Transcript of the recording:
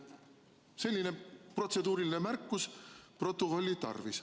Selline protseduuriline märkus oli mul protokolli tarvis.